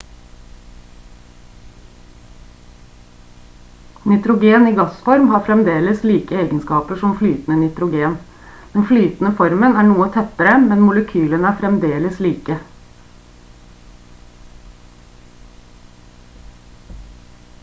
nitrogen i gassform har fremdeles like egenskaper som flytende nitrogen den flytende formen er noe tettere men molekylene er fremdeles like